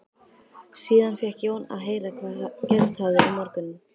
Síðan fékk Jón að heyra hvað gerst hafði um morguninn.